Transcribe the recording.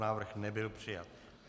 Návrh nebyl přijat.